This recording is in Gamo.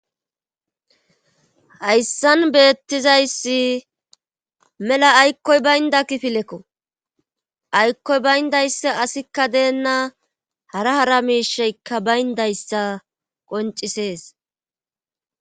hayssan beettizayssi mela aykkoy baynda kifilekko aykkoy bayndayssa asikka deennaa hara hara miisheykka bayndayssa qoncisees